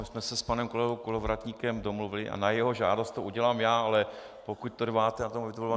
My jsme se s panem kolegou Kolovratníkem domluvili a na jeho žádost to udělám já, ale pokud trváte na tom...